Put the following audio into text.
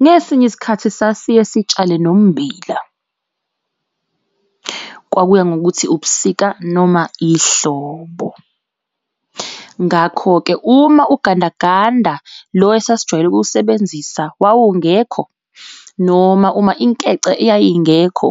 Ngesinye isikhathi sasiye sitshale nommbila. Kwakuya ngokuthi ubusika noma ihlobo, ngakho-ke uma ugandaganda lo esasijwayele ukuwusebenzisa wawungekho noma uma inkece yayingekho